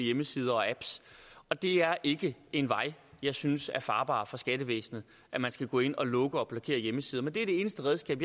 hjemmesider og apps og det er ikke en vej jeg synes er farbar for skattevæsenet at man skal gå ind og lukke og blokere hjemmesider men det er det eneste redskab